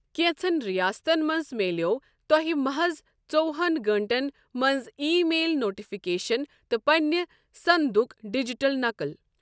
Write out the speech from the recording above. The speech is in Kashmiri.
کیٚنٛژن رِیاستن منٛز میلیٚو تۄہہِ محظ ژوہن گٲنٛٹن منٛز ایی میل نوٹِفِكیشن تہٕ پنٛنہِ صَندُك ڈجٹل نقل ۔